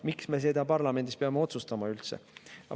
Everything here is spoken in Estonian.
Miks me peame seda üldse parlamendis otsustama?